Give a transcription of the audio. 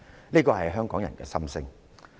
"這是香港人的心聲。